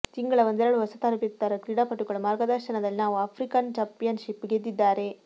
ತಿಂಗಳ ಒಂದೆರಡು ಹೊಸ ತರಬೇತುದಾರ ಕ್ರೀಡಾಪಟುಗಳು ಮಾರ್ಗದರ್ಶನದಲ್ಲಿ ನಾವು ಆಫ್ರಿಕನ್ ಚಾಂಪಿಯನ್ಷಿಪ್ ಗೆದ್ದಿದ್ದಾರೆ